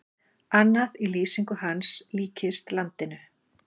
Annað í lýsingu hans líkist landinu.